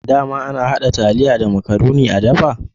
Dama ana hada taliya da makarune a dafa?